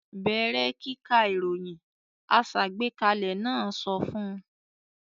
"Bẹ̀rẹ̀ kíka ìròyìn!" Aṣàgbékalẹ̀ náà sọ fún un.